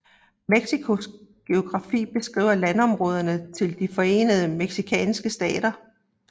Mexicos geografi beskriver landområderne til de forenede mexicanske stater